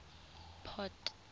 port